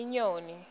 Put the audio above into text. inyoni